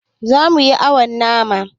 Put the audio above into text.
Zamu yi awon nama